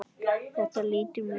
Þetta lítur mjög vel út.